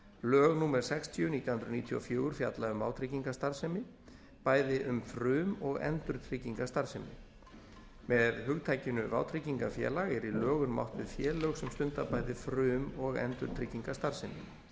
lög númer sextíu nítján hundruð níutíu og fjögur fjalla um vátryggingastarfsemi bæði um frum og endurtryggingastarfsemi með hugtakinu vátryggingafélag er í lögunum átt við félög sem stunda bæði frum og endurtryggingastarfsemi